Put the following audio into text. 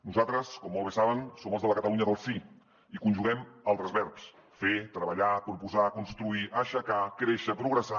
nosaltres com molt bé saben som els de la catalunya del sí i conjuguem altres verbs fer treballar proposar construir aixecar créixer progressar